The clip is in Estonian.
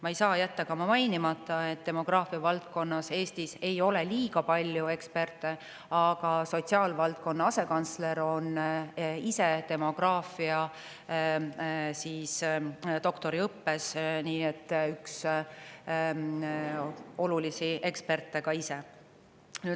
Ma ei saa jätta ka mainimata, et demograafiavaldkonnas Eestis ei ole liiga palju eksperte, aga sotsiaalvaldkonna asekantsler on ise demograafia doktoriõppes, nii et üks olulisi eksperte ka ise.